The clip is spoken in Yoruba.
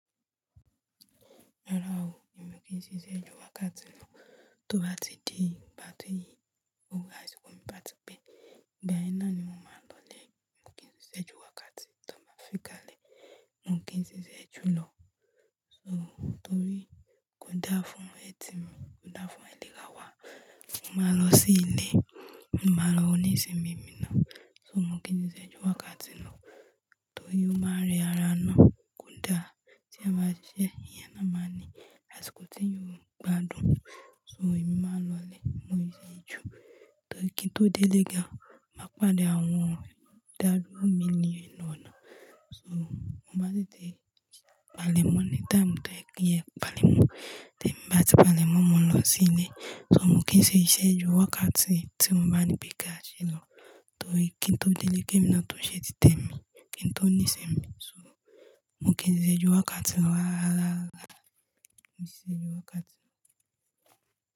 Rárá o, èmi kí n ṣe iṣẹ́ ju wákàtí náà tó bá ti di ìgbà tí yí, ó gbogbo àsìkò mi bá ti pé, ìgbà yẹn náa ni mo máa lọlé. Mo kì í ṣe iṣẹ́ ju wákàtí tó bá fi kalẹ̀. Mo kì í n ṣi iṣẹ́ jú lọ. So torí kò dáa fún ẹ̀tì mi, kò dáa fún àìlera wa. Mo máa lọ sí ilé, mo máa lọ oníṣe mi mìíràn. So mo kì í ṣi iṣẹ́ ju wákàtí lọ. Torí ó máa rẹ ara náà kò n dáa tí èèyàn bá ṣiṣẹ́ èèyàn náà máa ní àsìkò tí èèyàn óò gbádùn. So èmi máa n lọlé, mo ì ṣe é ju. Torí kí n tó délé gan, máa pàdé àwọn ìdádúró mi ni inú ọ̀nà. So mo maá n tete palẹ̀ mọ́ ní táàmù tó ẹkún ẹ palẹ̀ mọ́, tí èmi bá ti palẹ̀ mọ́, mo lọ sí ilé. So mo kì í ṣe iṣẹ́ ju wákàtí tí wọn o bá ní pé ká ṣe lọ. Torí kí n tó délé, kí èmi náà tó ṣe títẹ̀ mi, kí n tó níṣe mi. So mo kì í ṣe iṣẹ́ ju wákàtí lọ rára rara rara mi ṣe iṣẹ́ ju wákàtí lọ.